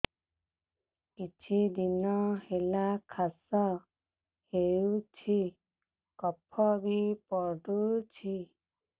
କିଛି ଦିନହେଲା କାଶ ହେଉଛି କଫ ବି ପଡୁଛି